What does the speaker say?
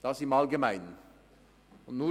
So viel zum Allgemeinen.